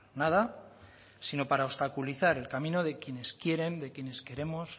nada sino para obstaculizar el camino de quienes quieren de quienes queremos